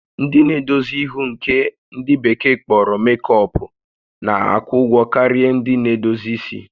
Ndị na-edozi ihu nke ndị bekee kpọrọ makeup na-akwụ ụgwọ karịa ndị na-edozi isi